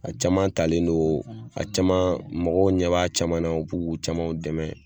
A caman talen don a caman mɔgɔw ɲɛb'a caman u b'u ka caman dɛmɛ